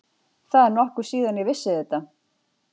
Það er nokkuð síðan ég vissi þetta.